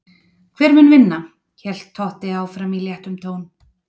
Hver mun vinna? hélt Totti áfram í léttum tón.